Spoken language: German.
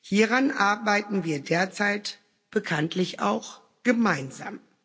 Hieran arbeiten wir derzeit bekanntlich auch gemeinsam.